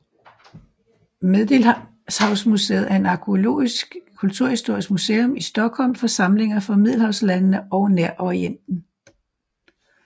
Medelhavsmuseet er et arkæologisk kulturhistorisk museum i Stockholm for samlinger fra middelhavslandene og Nærorienten